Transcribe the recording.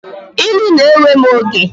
Ilu na-ewe m oge.